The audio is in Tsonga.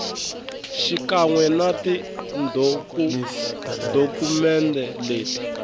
xikan we na tidokumende leti